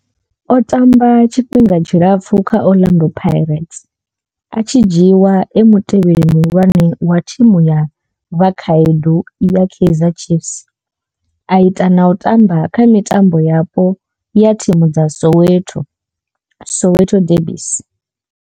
O tamba tshifhinga tshilapfhu kha Orlando Pirates, a tshi dzhiiwa e mutevheli muhulwane wa thimu ya vhakhaedu ya Kaizer Chiefs, a ita na u tamba kha mitambo yapo ya thimu dza Soweto Soweto derbies.